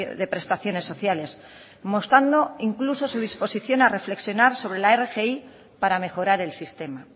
de prestaciones sociales mostrando incluso su disposición a reflexionar sobre la rgi para mejorar el sistema